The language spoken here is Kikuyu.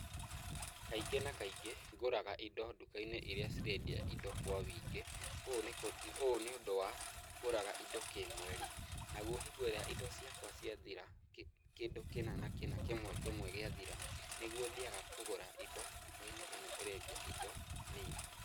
Kaingĩ na kaingĩ ngũraga indo nduka-inĩ iria cirendia indo kwa wingĩ, ũũ nĩ, ũũ nĩ ũndũ wa, ngũraga indo kĩmweri. Naguo hingo iria indo ciakwa ciathira, kĩndũ kĩna na kĩna, kĩmwe kĩmwe gĩathira nĩguo thiaga kũgũra indo nduka-inĩ ĩno ĩrendia indo nini.